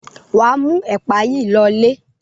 Wà á mú ẹ̀pà yìí lọlé.